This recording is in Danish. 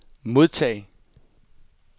modtag